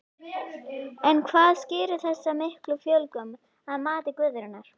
En hvað skýrir þessa miklu fjölgun að mati Guðrúnar?